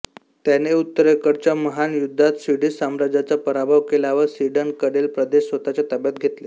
त्याने उत्तरेकडच्या महान युद्धात स्वीडिश साम्राज्याचा पराभव केला व स्वीडनकडील प्रदेश स्वतःच्या ताब्यात घेतले